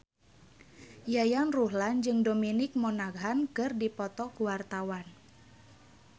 Yayan Ruhlan jeung Dominic Monaghan keur dipoto ku wartawan